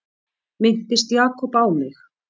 Minntist Jakob á mig?